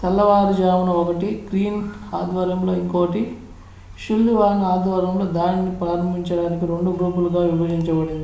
తెల్లవారు జామున ఒకటి greene ఆధ్వర్యంలో ఇంకోటి sullivan ఆధ్వర్యంలో దాడిని ప్రారంభించడానికి రెండు గ్రూపులుగా విభజించబడింది